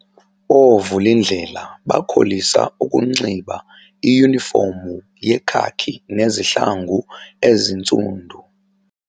Oovulindlela bakholisa ukunxiba iyunifomu yekhaki nezihlangu ezintsundu.